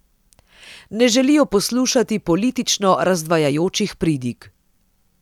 Ne želijo poslušati politično razdvajajočih pridig.